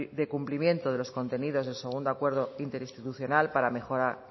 de cumplimiento de los contenidos del segundo acuerdo interinstitucional para mejorar